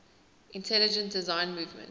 intelligent design movement